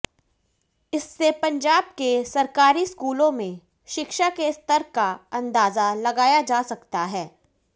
इससे पंजाब के सरकारी स्कूलों में शिक्षा के स्तर का अंदाज़ा लगाया जा सकता है